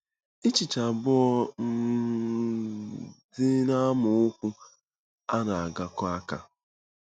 Echiche abụọ um dị n'amaokwu a na-agakọ aka.